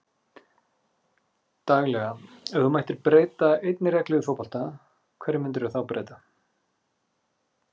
Daglega Ef þú mættir breyta einni reglu í fótbolta, hverju myndir þú breyta?